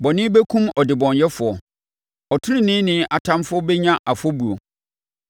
Bɔne bɛkum ɔdebɔneyɛfoɔ; ɔteneneeni atamfoɔ bɛnya afɔbuo.